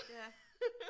Ja